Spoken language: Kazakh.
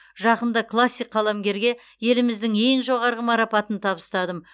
жақында классик қаламгерге еліміздің ең жоғарғы марапатын табыстадым